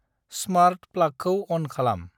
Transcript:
Smart प्लागखौ अन खालाम।